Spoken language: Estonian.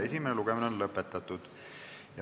Esimene lugemine on lõpetatud.